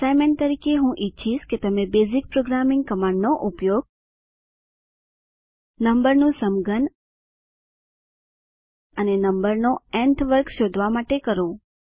assignment તરીકે હું ઈચ્છીશ કે તમે બેઝીક પ્રોગ્રામિંગ કમાંડનો ઉપયોગ નમ્બરનું સમઘન અને નમ્બરનો ન્થ વર્ગ શોધવા માટે કરો